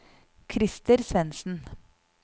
Krister Svendsen